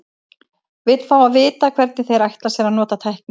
Vill fá að vita, hvernig þeir ætla sér að nota tæknina.